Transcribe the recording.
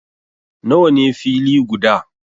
Nawa ne fili guda?